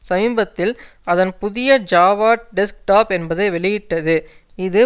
சமீபத்தில் அதன் புதிய ஜாவா டெஸ்க்டாப் என்பதை வெளியிட்டது இது